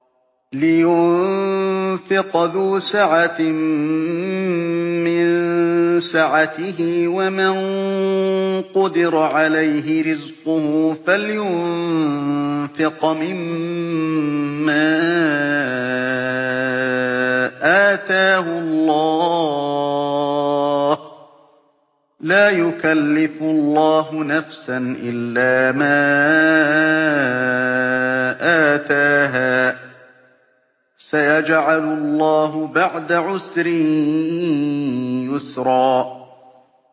لِيُنفِقْ ذُو سَعَةٍ مِّن سَعَتِهِ ۖ وَمَن قُدِرَ عَلَيْهِ رِزْقُهُ فَلْيُنفِقْ مِمَّا آتَاهُ اللَّهُ ۚ لَا يُكَلِّفُ اللَّهُ نَفْسًا إِلَّا مَا آتَاهَا ۚ سَيَجْعَلُ اللَّهُ بَعْدَ عُسْرٍ يُسْرًا